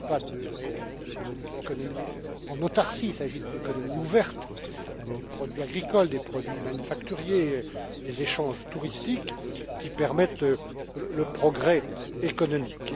Il ne s'agit pas d'économie en autarcie, il s'agit d'économie ouverte, des produits agricoles, des produits manufacturés, des échanges touristiques, qui permettent le progrès économique.